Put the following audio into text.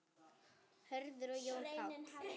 Hörður og Jón Páll.